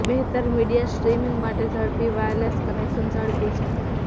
બહેતર media streaming માટે ઝડપી વાયરલેસ કનેક્શન ઝડપી છે